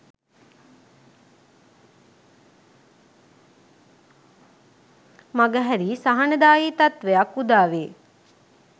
මගහැරී සහනදායී තත්ත්වයක් උදාවේ.